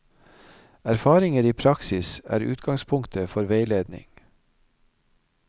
Erfaringer i praksis er utgangspunkt for veiledning.